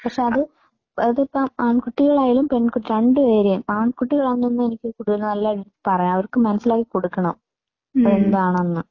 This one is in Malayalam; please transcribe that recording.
പക്ഷേ അത് അതിപ്പോൾ ആൺകുട്ടികളായാലും പെൺ രണ്ട് പേരെയും ആൺകുട്ടികൾ ആണെന്ന് തോന്നുന്നു എനിക്ക് കൂടുതൽ നല്ല പറയാം അവർക്ക് മനസ്സിലാക്കി കൊടുക്കണം. എന്താണെന്ന്